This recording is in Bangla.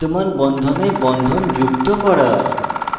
বিদ্যমান বন্ধনে bond যুক্ত করা